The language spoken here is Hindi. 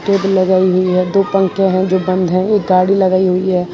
लगाई हुई है दो पंखे हैं जो बंद हैं एक गाड़ी लगाई हुई है।